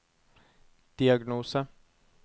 diagnose